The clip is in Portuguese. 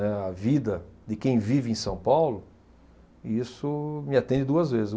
É a vida de quem vive em São Paulo, isso me atende duas vezes.